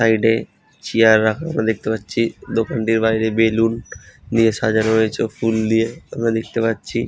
Side এ chair রাখা আমরা দেখতে পাচ্ছি দোকানটির বাইরে বেলুন দিয়ে সাজানো রয়েছে ফুল দিয়ে আমরা দেখতে পাচ্ছি।